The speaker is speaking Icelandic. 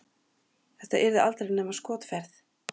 Þetta yrði aldrei nema skotferð.